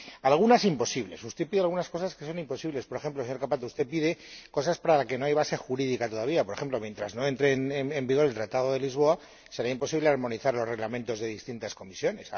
Algunas imposibles usted pide algunas cosas que son imposibles. Por ejemplo, señor Cappato, usted pide cosas para las que no hay base jurídica todavía por ejemplo, mientras no entre en vigor el Tratado de Lisboa, será imposible armonizar los reglamentos de distintas comisiones.